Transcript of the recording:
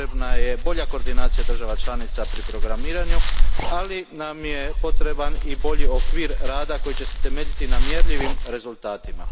Potrebna je bolja koordinacija država članica pri programiranju, ali nam je potreban i bolji okvir rada koji će se temeljiti na mjerljivim rezultatima.